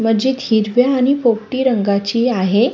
मस्जित हिरव्या आणि पोपटी रंगाची आहे.